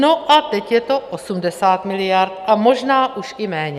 No a teď je to 80 miliard a možná už i méně.